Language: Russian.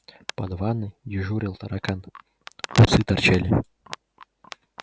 под ванной дежурил таракан усы торчали